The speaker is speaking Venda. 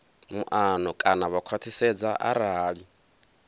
muano kana vha khwathisedza arali